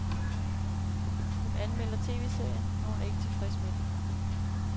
Hun anmelder tv-serien, og hun er ikke tilfreds med den.